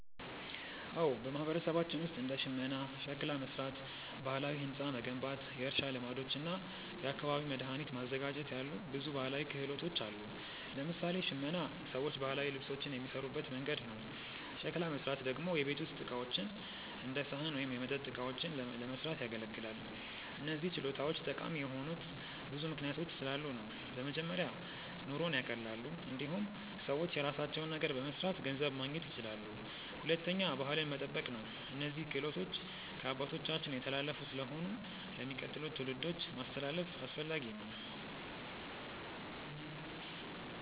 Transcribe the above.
አዎ፣ በማህበረሰባችን ውስጥ እንደ ሽመና፣ ሸክላ መሥራት፣ ባህላዊ ሕንፃ መገንባት፣ የእርሻ ልማዶች እና የአካባቢ መድኃኒት ማዘጋጀት ያሉ ብዙ ባህላዊ ክህሎቶች አሉ። ለምሳሌ ሽመና ሰዎች ባህላዊ ልብሶችን የሚሠሩበት መንገድ ነው። ሸክላ መሥራት ደግሞ የቤት ውስጥ ዕቃዎች እንደ ሳህን ወይም የመጠጥ እቃዎችን ለመስራት ያገለግላል። እነዚህ ችሎታዎች ጠቃሚ የሆኑት ብዙ ምክንያቶች ስላሉ ነው። በመጀመሪያ ኑሮን ያቀላሉ። እንዲሁም ሰዎች የራሳቸውን ነገር በመስራት ገንዘብ ማግኘት ይችላሉ። ሁለተኛ ባህልን መጠበቅ ነው፤ እነዚህ ክህሎቶች ከአባቶቻችን የተላለፉ ስለሆኑ ለሚቀጥሉት ትውልዶች ማስተላለፍ አስፈላጊ ነው።